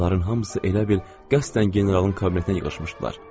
Onların hamısı elə bil qəsdən generalın kabinetinə yığışmışdılar.